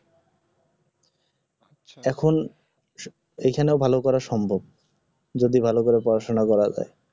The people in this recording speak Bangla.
এখন এখানে ভাল করা সম্ভব যদি ভালকরে পড়াশোনা করা যায়